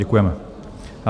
Děkujeme.